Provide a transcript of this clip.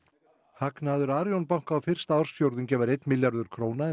hagnaður Arion banka á fyrsta ársfjórðungi var einn milljarður króna en